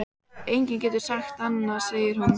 Enginn getur sagt annað, segir hún.